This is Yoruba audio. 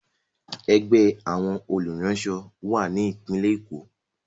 Ẹgbẹ́ àwọn olùránṣọ wà ní Ìpínlẹ̀ Èkó.